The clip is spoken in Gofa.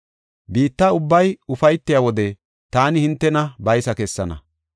Biitta ubbay ufaytiya wode taani hintena baysa kessana.